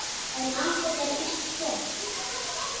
En lífið er víst svona.